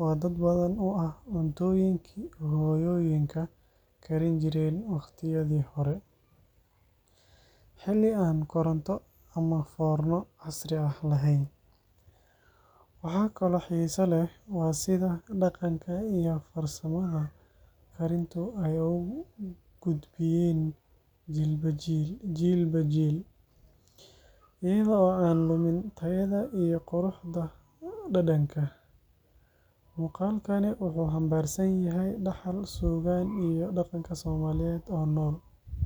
oo dad badan u ah cuntooyinkii hooyooyinka karinjireen waqtiyadii hore, xilli aan koronto ama foorno casri ah la hayn. Waxa kaloo xiiso leh waa sida dhaqanka iyo farsamada karintu ay u gudbiyeen jiilba jiil, iyada oo aan lumin tayada iyo quruxda dhadhanka. Muuqaalkani wuxuu xambaarsan yahay dhaxal, suugaan iyo dhaqanka Soomaaliyeed oo nool.